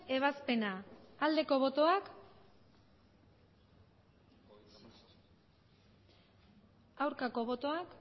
ebazpena aldeko botoak aurkako botoak